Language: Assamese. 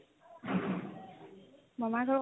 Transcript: মামাই ঘৰ